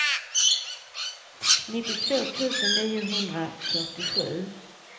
nittiotvå tusen niohundrafyrtiosju